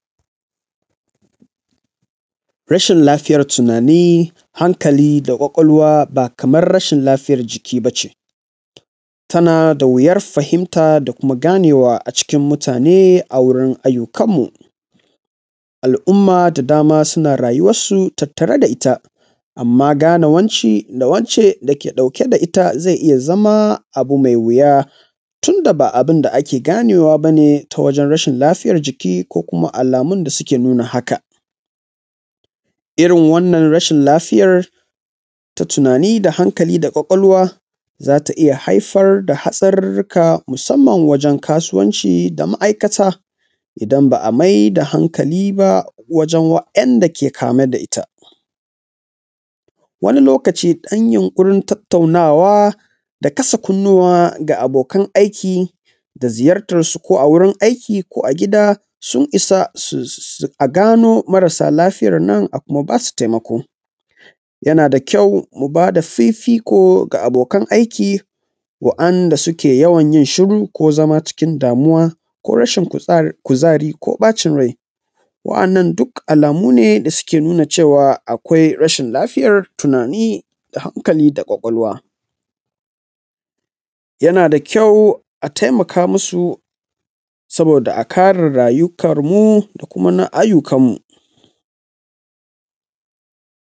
Rashin lafiya tunani hankali da kwakwalwa ba kamar rashin lafiyar jiki ba ce, tana da wuyar fahimta da kuma ganewa a cikin mutane a wurin ayyukan mu. Al’umma da dama suna rayuwarsu tattare da ita amma gane wance da wance ke ɗauke da ita ze iya zama abu me wuya tunda ba abun da ake ganewa ba ne ta wajen rasin lafiyar jiki ko kuma alamun da suke nuna haka, domin wannan ciwon lafiyan ta tunani da hankali da kwakwalwa za ta iya haifar da hatsarurruka musamman wajen kasuwanci da ma’aikata, idan ba a mai da hankali ba wajen waɗanda ke kame da ita, wani lokaci ɗan yunƙurin tattaunawa da kasa kunnuwa da abokan aiki da ziyartansu ko a wurin aiki ko a gida sun isa a gano marasa lafiyan nan, a kuma ba su taimako. Yana da kyau mu ba da fifiko da abokan aiki waɗanda suke yawan yin shiru ko zama cikin damuwa ko rashin kuzari ko bacin rai waɗannan duk alamu ne da suke nuna cewa akwai rashin lafiyar tunani da hankali da kwakwalwa, yana da kyau a taimaka musu saboda a kare rayukanmu da kuma na ayyukan mu.